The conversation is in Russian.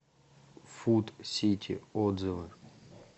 фуд сити отзывы